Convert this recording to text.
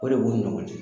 O de b'u ni ɲɔgɔn cɛ